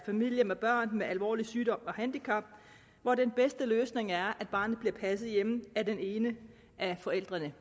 familier med børn med alvorlig sygdom og alvorligt handicap hvor den bedste løsning er at barnet bliver passet hjemme af den ene af forældrene